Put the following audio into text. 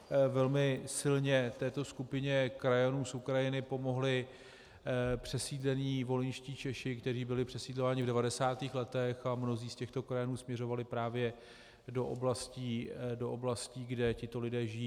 Velmi silně této skupině krajanů z Ukrajiny pomohli přesídlení volyňští Češi, kteří byli přesídlování v 90. letech, a mnozí z těchto krajanů směřovali právě do oblastí, kde tito lidé žijí.